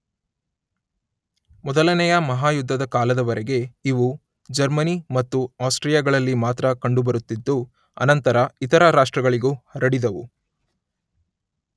ಮೊದಲನೆಯ ಮಹಾಯುದ್ಧದ ಕಾಲದವರೆಗೆ ಇವು ಜರ್ಮನಿ ಮತ್ತು ಆಸ್ಟ್ರಿಯಾಗಳಲ್ಲಿ ಮಾತ್ರ ಕಂಡುಬರುತ್ತಿದ್ದು ಅನಂತರ ಇತರ ರಾಷ್ಟ್ರಗಳಿಗೂ ಹರಡಿದವು.